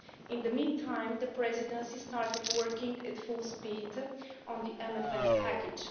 In the meantime, the Presidency started working at full speed on the MFF package.